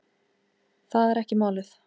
Það er ekki málið.